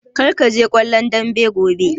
Kar kaje kallon dambe gobe!